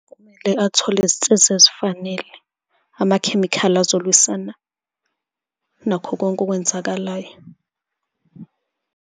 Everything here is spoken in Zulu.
Kumele athole izinsiza ezifanele, amakhemikhali azolwisana nakho konke okwenzakalayo.